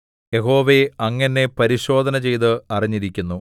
യഹോവേ അങ്ങ് എന്നെ പരിശോധന ചെയ്ത് അറിഞ്ഞിരിക്കുന്നു